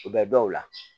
U bɛ dɔw la